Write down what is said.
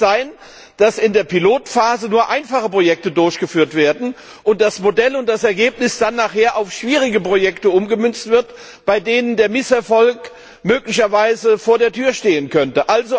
Es kann nicht sein, dass in der Pilotphase nur einfache Projekte durchgeführt werden und das Modell und das Ergebnis dann auf schwierige Projekte umgemünzt werden, bei denen der Misserfolg möglicherweise vor der Tür stehen könnte!